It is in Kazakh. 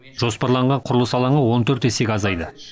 жоспарланған құрылыс алаңы он төрт есеге азайды